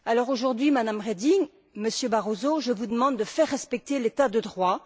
Aujourd'hui, Madame Reding, Monsieur Barroso, je vous demande de faire respecter l'état de droit.